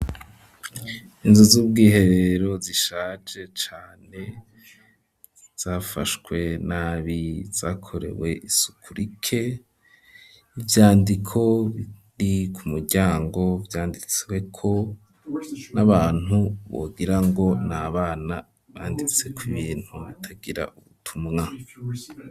Inzuj zubwiherero zishaje cane zafashwe nabi zakorewe isuku rike ivyandiko biri ku muryango vyanditswe ko nabantu wagirango na bana banditse ku ibintu bitagira ubutumwa.